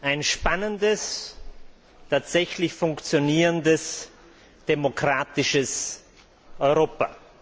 ein spannendes, tatsächlich funktionierendes, demokratisches Europa.